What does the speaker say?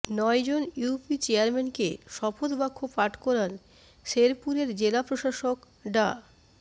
নয়জন ইউপি চেয়ারম্যানকে শপথ বাক্য পাঠ করান শেরপুরের জেলা প্রশাসক ডা